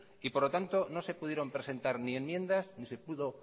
y por lo tanto no se pudieron presentar ni enmiendas ni se pudo